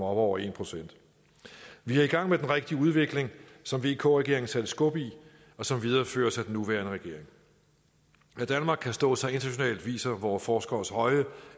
over en procent vi er i gang med den rigtige udvikling som vk regeringen satte skub i og som videreføres af den nuværende regering at danmark kan stå sig internationalt viser vore forskeres høje